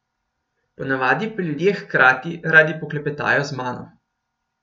Ponavadi pa ljudje hkrati radi poklepetajo z mano.